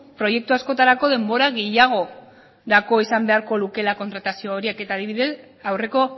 proiektu askotarako denbora gehiagorako izan beharko luke kontratazio horiek eta adibidez aurreko